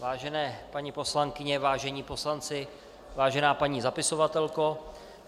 Vážené paní poslankyně, vážení poslanci, vážená paní zapisovatelko.